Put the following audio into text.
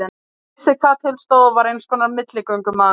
Hann vissi hvað til stóð og var einskonar milligöngumaður.